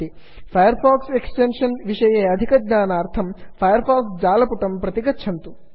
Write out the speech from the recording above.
fire fox extension विषये अधिकज्ञानार्थं Firefox Firefox जालपुटं प्रति गच्छन्तु